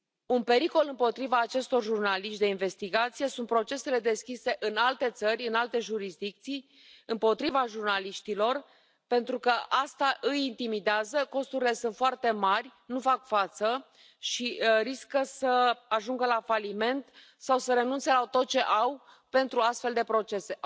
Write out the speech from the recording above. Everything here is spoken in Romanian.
Un pericol împotriva acestor jurnaliști de investigație sunt procesele deschise în alte țări, în alte jurisdicții, împotriva jurnaliștilor, pentru că asta îi intimidează, costurile sunt foarte mari, nu fac față și riscă să ajungă la faliment sau să renunțe la tot ce au pentru astfel de procese.